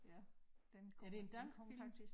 Ja den kommer den kommer faktisk